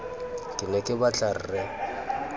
ke ne ke batla rre